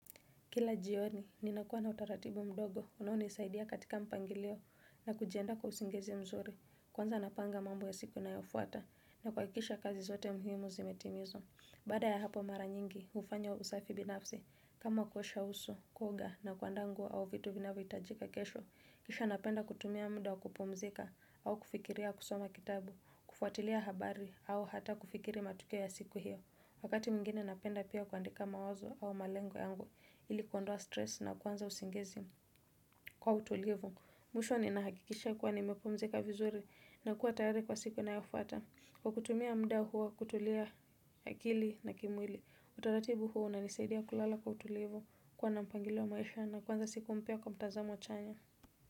Kila jioni, ninakua na utaratibu mdogo, unaonisaidia katika mpangilio, na kujiandaa kwa usingizi mzuri, kwanza napanga mambo ya siku na yofuata, na kuhakikisha kazi zote muhimu zimetimizwa. Baada ya hapo mara nyingi, ufanya usafi binafsi, kama kuosha usu, kuoga, na kuanda nguo, au vitu vinavyo hitajika kesho, kisha napenda kutumia mdua kupumzika, au kufikiria kusoma kitabu, kufuatilia habari, au hata kufikiri matukio ya siku hiyo. Wakati mwingine napenda pia kuandika mawazo au malengo yangu ili kondoa stress na kwanza usingizi kwa utulivu. Mwisho ni nahakikisha kuwa nimepomzika vizuri na kuwa tayari kwa siku inayofata. Kwa kutumia mda huo kutulia akili na kimwili, utaratibu huo unanisaidia kulala kwa utulivu kuwa na mpangilo maisha na kwanza siku mpya kwa mtazamo chanya.